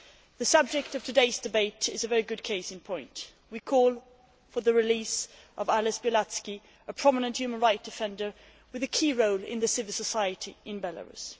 The subject of today's debate is a very good case in point we call for the release of Ales Bialatski, a prominent human rights defender with a key role in civil society in Belarus.